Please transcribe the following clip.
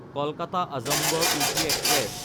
কলকাতা–আজমগড় weekly express